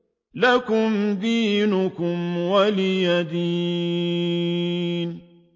لَكُمْ دِينُكُمْ وَلِيَ دِينِ